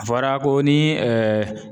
A fɔra ko ni